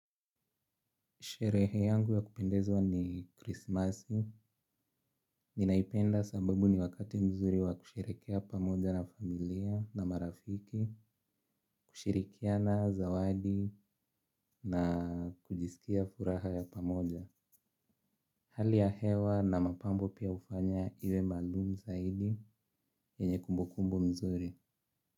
Sherehe yangu ya kupendezwa ni Christmas, ninaipenda sababu ni wakati mzuri wa kusherekea pamoja na familia na marafiki, kushirikiana zawadi na kujisikia furaha ya pamoja. Hali ya hewa na mapambo pia hufanya iwe maalumu zaidi yenye kumbukumbu mzuri.